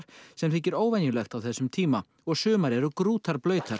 sem þykir óvenjulegt á þessum tíma og sumar eru